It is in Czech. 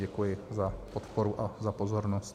Děkuji za podporu a za pozornost.